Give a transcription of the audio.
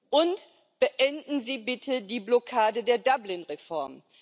Und beenden Sie bitte die Blockade der Dublin Reform.